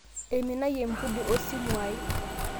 Eiminayie lmpundi osimuai